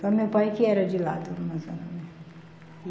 Só meu pai que era de lá, do Amazonas mesmo.